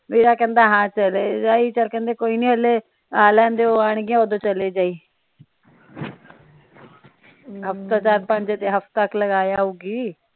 ਵੀਰਾ ਕਹਿਣਾ ਹਾਂ ਚਲੇ ਜਾਈ ਚਲ ਕਹਿੰਦੇ ਕੋਈ ਨਹੀਂ ਹਲੇ ਆ ਲੈਣਦਿਓ ਆਣਗੀਆਂ ਓਦੋ ਚਲੇ ਜਾਈ ਹਫਤਾ ਚਾਰ ਪੰਜ ਹਫਤਾ ਕਾ ਲਗਾ ਆਊਗੀ।